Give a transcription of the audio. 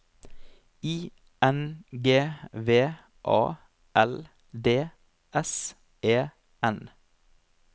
I N G V A L D S E N